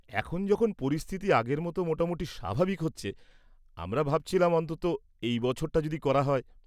এখন যখন পরিস্থিতি আগের মতো মোটামুটি স্বাভাবিক হচ্ছে, আমরা ভাবছিলাম অন্ততঃ এই বছরটা যদি করা হয়।